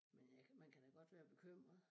Men øh jeg kan man kan da godt være bekymret